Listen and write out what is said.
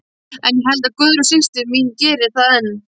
En ég held að Guðrún systir mín geri það enn.